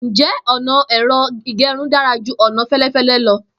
Njẹ ọna ẹ̀rọ ìgẹrun dara ju ọna felefele lọ?